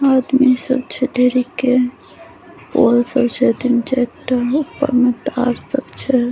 आदमी सब छै ढेरीएके पोल सब छै तीन चाएर टा ऊपर मे तार सब छै।